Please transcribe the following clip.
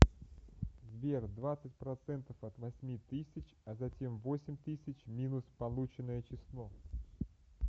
сбер двадцать процентов от восьми тысяч а затем восемь тысяч минус полученное число